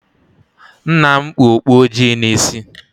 Nna m kpu okpu ojii n'isi